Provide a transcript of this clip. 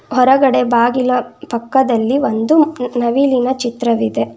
ಹೊರಗಡೆ ಬಾಗಿಲ ಪಕ್ಕದಲ್ಲಿ ಒಂದು ನವಿಲಿನ ಚಿತ್ರವಿದೆ.